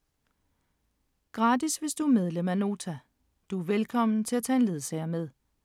Gratis hvis du er medlem af Nota. Du er velkommen til at tage en ledsager med.